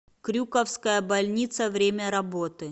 крюковская больница время работы